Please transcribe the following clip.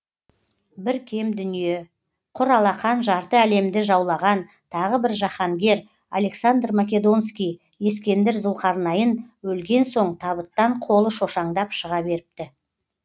бір кем дүние құр алақан жарты әлемді жаулаған тағы бір жаһангер александр македонский ескендір зұлқарнайын өлген соң табыттан қолы шошаңдап шыға беріпті